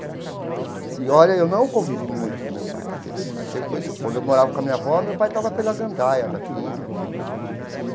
E olha, eu não convivi muito com meu pai, porque ele sempre foi quando eu morava com a minha avó, meu pai estava pela gandaia da vida, entendeu?